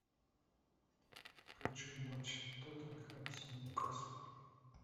хочу матч тоттенхэм с ньюкасл